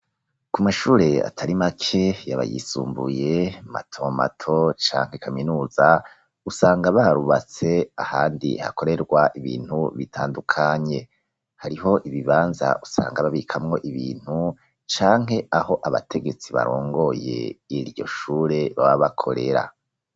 Ku mashure atari make yaba yisumbuye matomato canke kaminuza, usanga barubatse ahandi hakorerwa ibintu bitandukanye hariho ibibanza usanga babikamwo ibintu canke aho abategetsi barongoye iryo shure bababakorera.